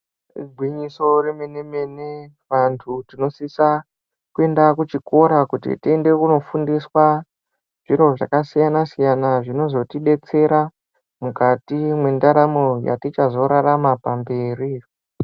Igwinyiso remene-mene vanthu tinosisa kuenda kuchikora kuti tiende kundofundiswa zviro zvakasiyana siyana zvinozotidetsera mukati mwendaramo yatichazorarama pamberi.